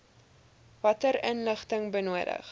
watter inligting benodig